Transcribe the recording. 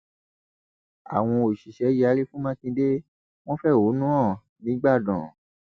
àwọn òṣìṣẹ yarí fún mákindé wọn fẹhónú hàn nígbàdàn